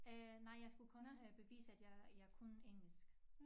Øh nej jeg skulle kun at have bevise at jeg jeg kunne engelsk